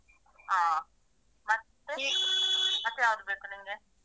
ಹಾ. ಮತ್ತೆ ಮತ್ತೆ ಯಾವುದು ಬೇಕು ನಿಂಗೆ?